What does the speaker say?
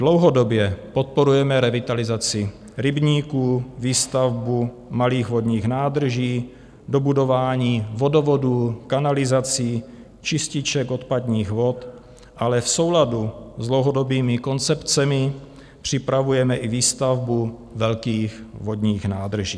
Dlouhodobě podporujeme revitalizaci rybníků, výstavbu malých vodních nádrží, dobudování vodovodů, kanalizací, čističek odpadních vod, ale v souladu s dlouhodobými koncepcemi připravujeme i výstavbu velkých vodních nádrží.